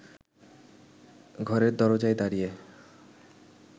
ঘরের দরজায় দাঁড়িয়ে